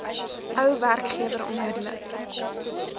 ou werkgewer onmiddellik